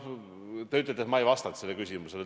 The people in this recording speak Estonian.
Te ütlesite, et ma ei vastanud sellele küsimusele.